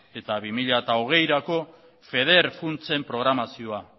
eta bi mila hogeirako feder funtsen programazioa